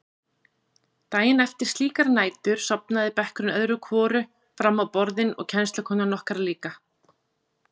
Daginn eftir slíkar nætur sofnaði bekkurinn öðru hvoru fram á borðin og kennslukonan okkar líka.